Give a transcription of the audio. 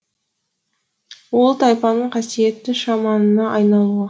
ол тайпаның қасиетті шаманына айналуы